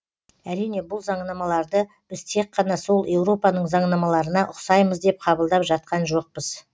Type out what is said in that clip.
әрине бұл заңнамаларды біз тек қана сол еуропаның заңнамаларына ұқсаймыз деп қабылдап жатқан жоқпыз